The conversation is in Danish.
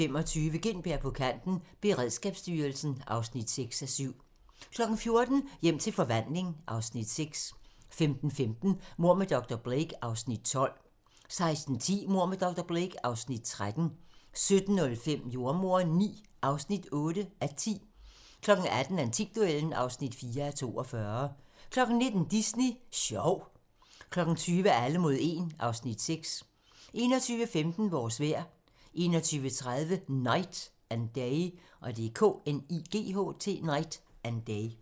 13:25: Gintberg på kanten – Beredskabsstyrelsen (6:7) 14:00: Hjem til forvandling (Afs. 6) 15:15: Mord med dr. Blake (Afs. 12) 16:10: Mord med dr. Blake (Afs. 13) 17:05: Jordemoderen IX (8:10) 18:00: Antikduellen (4:42) 19:00: Disney Sjov 20:00: Alle mod 1 (Afs. 6) 21:15: Vores vejr 21:30: Knight and Day